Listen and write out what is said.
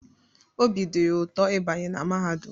Obi dị ya ụtọ ịbanye na mahadum